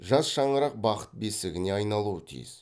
жас шаңырақ бақыт бесігіне айналуы тиіс